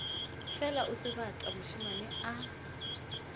fela o sebata mošemane a